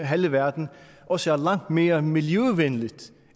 halve verden også er langt mere miljøvenligt